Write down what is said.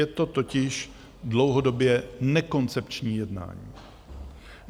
Je to totiž dlouhodobě nekoncepční jednání.